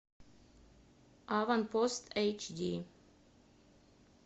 аванпост эйч ди